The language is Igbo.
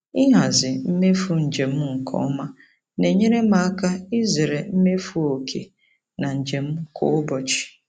Ịhazi mmefu njem nke ọma na-enyere m aka izere imefu oke na njem kwa ụbọchị.